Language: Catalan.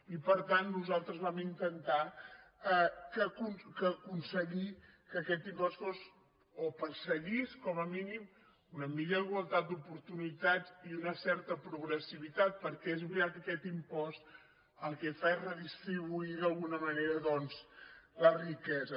i per tant nosaltres vam intentar aconseguir que aquest impost fos o perseguís com a mínim una millor igualtat d’oportunitats i una certa progressivitat perquè és veritat que aquest impost el que fa és redistribuir d’alguna manera doncs la riquesa